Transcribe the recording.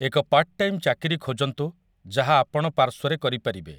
ଏକ part time ଚାକିରି ଖୋଜନ୍ତୁ ଯାହା ଆପଣ ପାର୍ଶ୍ୱରେ କରିପାରିବେ ।